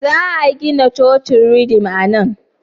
Za a gina cocin ridim a nan?